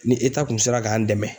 Ni kun sera k'an dɛmɛn